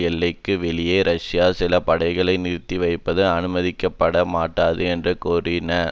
எல்லைக்கு வெளியே ரஷ்யா சில படைகளை நிறுத்திவைப்பது அனுமதிக்கப்பட மாட்டாது என்று கூறின